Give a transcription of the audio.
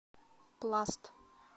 пласт